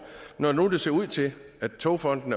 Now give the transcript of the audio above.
når det nu ser ud til at togfonden